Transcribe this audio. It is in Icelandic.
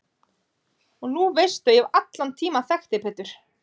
Og nú veistu að ég hef allan tímann þekkt þig Pétur.